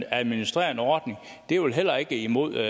at administrere en ordning er vel heller ikke imod